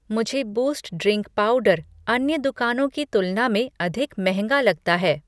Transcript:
मुझे Boost drink powder अन्य दुकानों की तुलना में अधिक महंगा लगता है।